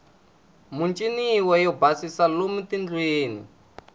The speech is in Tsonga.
muchiniwo yo basisa lomu tindlwini